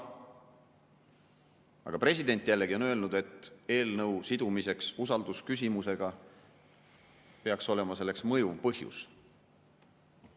Aga president jällegi on öelnud, et eelnõu sidumiseks usaldusküsimusega peaks olema mõjuv põhjus.